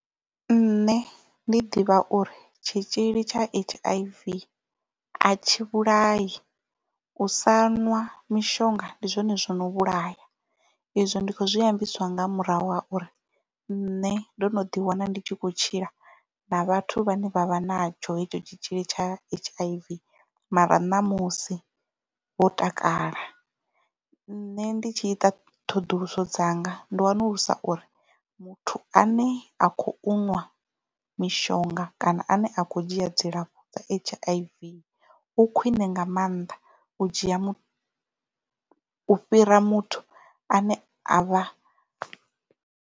Nṋe ndi ḓivha uri tshitzhili tsha H_I_V a tshi vhulai u sa ṅwa mishonga ndi zwone zwino vhulaya izwo ndi kho zwi ambiswa nga murahu ha uri nṋe ndo no ḓi wana ndi tshi khou tshila na vhathu vha ne vha vha natsho hetsho tshitzhili tsha H_I_V mara ṋamusi vho takala nṋe ndi tshi ita ṱhoḓuluso dzanga ndi wanulusa uri muthu ane a khou nwa mishonga kana ane a kho dzhia dzilafho dza H_I_V u khwiṋe nga maanḓa u dzhia u fhira muthu ane a vha.